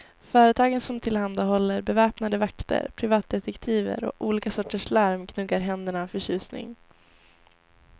Företagen som tillhandahåller beväpnade vakter, privatdetektiver och olika sorters larm gnuggar händerna av förtjusning.